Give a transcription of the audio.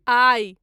आइ